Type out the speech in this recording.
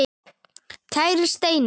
Kæri Steini.